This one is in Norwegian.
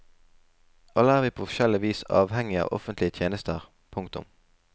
Alle er vi på forskjellig vis avhengige av offentlige tjenester. punktum